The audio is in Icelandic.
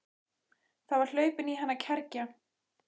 Það var hlaupin í hana kergja.